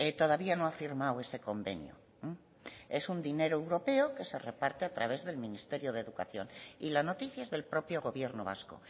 todavía no ha firmado ese convenio es un dinero europeo que se reparte a través del ministerio de educación y la noticia es del propio gobierno vasco